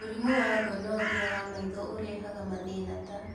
Mũrimũ wa gonorrhea wa maitho ũrehaga mathĩna ta;